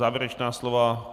Závěrečná slova...